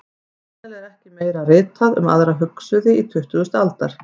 Sennilega er ekki meira ritað um aðra hugsuði tuttugustu aldar.